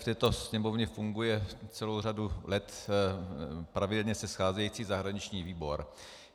V této Sněmovně funguje celou řadu let pravidelně se scházející zahraniční výbor.